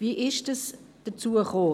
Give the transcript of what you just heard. Wie kam es dazu?